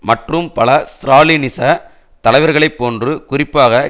மற்றும் பல ஸ்ராலினிச தலைவர்களை போன்று குறிப்பாக